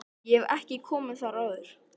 Ég hef ekki komið þar áður.